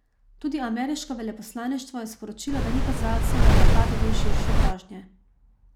Tudi ameriško veleposlaništvo je sporočilo, da ni kazalcev, da je napad del širše grožnje.